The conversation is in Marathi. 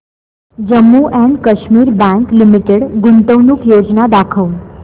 Jammu and Kashmir bank limited गुंतवणूक योजना दाखव